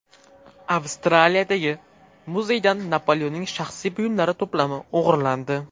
Avstraliyadagi muzeydan Napoleonning shaxsiy buyumlari to‘plami o‘g‘irlandi.